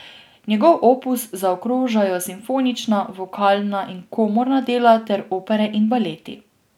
Njegov opus zaokrožajo simfonična, vokalna in komorna dela ter opere in baleti.